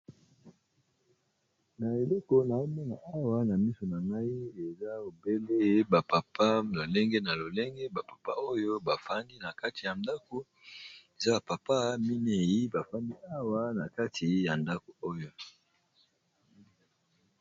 Na eleko na mona awa na miso na ngai eza obele ba papa lolenge na lolenge, ba papa oyo bafandi na kati ya ndako eza ba papa minei bafandi awa na kati ya ndako oyo.